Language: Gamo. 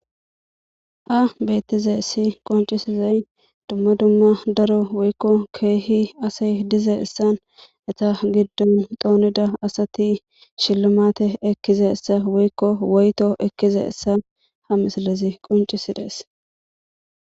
A beettize issi qoncisizay dumma dumma daro woykko keehi asey dize issan eta giddon doonida asati shillamate ekkize issa woykko woyto ekkize essa ha misalezi qoncisidees